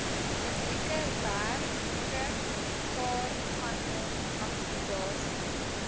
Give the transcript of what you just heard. publieke werkewaarvanom akkommodasie